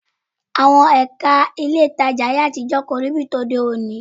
Àwọn Ẹ̀ka ilé ìtajà ayé àtijọ́ kò rí bíi ti òde òní